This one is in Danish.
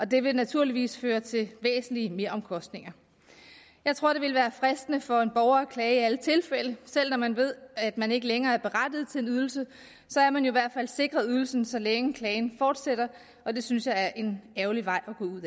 det vil naturligvis føre til væsentlige meromkostninger jeg tror det vil være fristende for en borger at klage i alle tilfælde selv når man ved at man ikke længere er berettiget til en ydelse så er man jo i hvert fald sikret ydelsen så længe klagen fortsætter og det synes jeg er en ærgerlig vej at gå ud